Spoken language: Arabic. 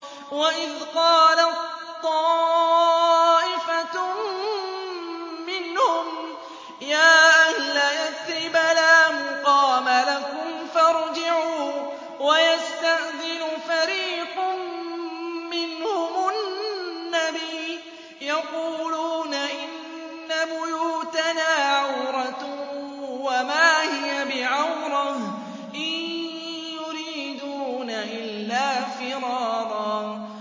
وَإِذْ قَالَت طَّائِفَةٌ مِّنْهُمْ يَا أَهْلَ يَثْرِبَ لَا مُقَامَ لَكُمْ فَارْجِعُوا ۚ وَيَسْتَأْذِنُ فَرِيقٌ مِّنْهُمُ النَّبِيَّ يَقُولُونَ إِنَّ بُيُوتَنَا عَوْرَةٌ وَمَا هِيَ بِعَوْرَةٍ ۖ إِن يُرِيدُونَ إِلَّا فِرَارًا